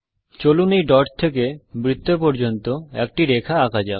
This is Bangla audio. চলুন এই ডট থেকে বৃত্ত পর্যন্ত একটি রেখা আঁকা যাক